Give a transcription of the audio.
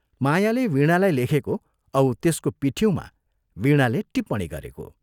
मायाले वीणालाई लेखेको औ त्यसको पिठिउँमा वीणाले टिप्पणी गरेको!